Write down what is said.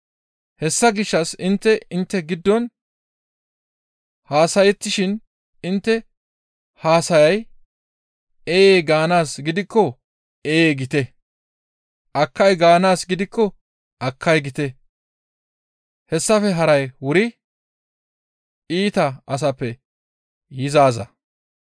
Hessa gishshas intte intte giddon haasayettishin intte haasayay, ‹Ee› gaanaaz gidikko, ‹Ee› giite; ‹Akkay› gaanaaz gidikko, ‹Akkay› giite; hessafe haray wuri iita asappe yizaaza.